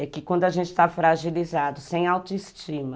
É que quando a gente está fragilizado, sem autoestima,